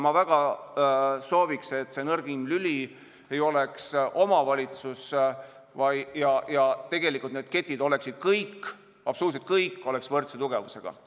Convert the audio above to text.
Ma väga soovin, et see nõrgim lüli ei oleks omavalitsus ja et tegelikult kõik need ketilülid oleks võrdse tugevusega.